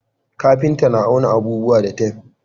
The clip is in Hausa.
kafinta na auna abubuwa da tef